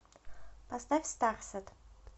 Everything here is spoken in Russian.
поставь старсэт